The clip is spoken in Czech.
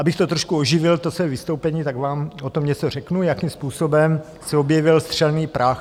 Abych to trošku oživil, to svoje vystoupení, tak vám o tom něco řeknu, jakým způsobem se objevil střelný prach.